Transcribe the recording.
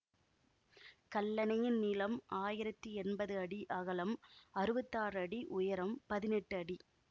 கல்லணையின் நீளம் ஆயிரத்தி என்பது அடி அகலம் அறுவத்தாறு அடி உயரம் பதினெட்டு அடி